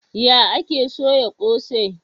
Ya ake soya kose?